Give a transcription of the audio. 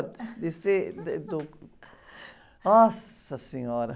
Descer, do... Nossa Senhora!